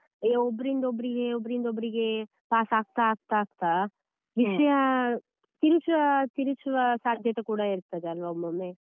ಒಬ್ರಿಂದ ಒಬ್ರಿಗೆ ಒಬ್ರಿಂದ ಒಬ್ರಿಗೆ pass ಆಗ್ತಾ ಆಗ್ತಾ ಆಗ್ತಾ ವಿಷಯ ತಿರುಚುವ ತಿರುಚುವ ಸಾಧ್ಯತೆ ಕೂಡ ಇರ್ತದೆ ಅಲ್ವಾ ಒಮ್ಮೊಮ್ಮೆ.